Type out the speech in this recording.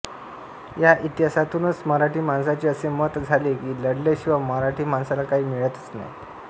या इतिहासातूनच मराठी माणसाचे असे मत झाले की लढल्याशिवाय मराठी माणसाला काही मिळतच नाही